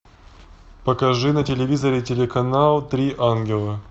покажи на телевизоре телеканал три ангела